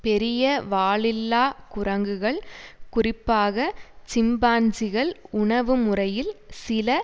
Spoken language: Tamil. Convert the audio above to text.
பெரிய வாலில்லா குரங்குகள் குறிப்பாக சிம்பன்ஜிகள் உணவுமுறையில் சில